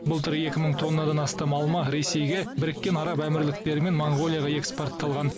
былтыр екі мың тоннадан астам алма ресейге біріккен араб әмірліктері мен моңғолияға экспортталған